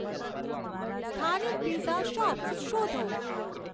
સ્થાનિક pizza shops શોધો